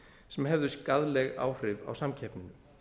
sem hefðu skaðleg áhrif á samkeppni